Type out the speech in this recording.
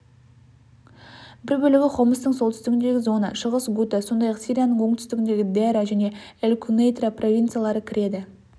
бір бөлігі хомстың солтүстігіндегі зона шығыс гута сондай-ақ сирияның оңтүстігіндегі дераа және эль-кунейтра провинциялары кіреді